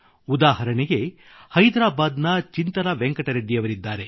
ಉದಾಹರಣೆಗೆ ಹೈದ್ರಾಬಾದ್ ನ ಚಿಂತಲ ವೆಂಕಟ ರೆಡ್ಡಿಯವರಿದ್ದಾರೆ